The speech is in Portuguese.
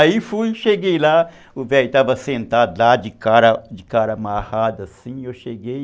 Aí fui, cheguei lá, o velho estava sentado lá de cara de cara amarrada assim, eu cheguei.